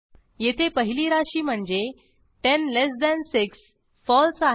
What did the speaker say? येथे पहिली राशी म्हणजे 106 फळसे आहे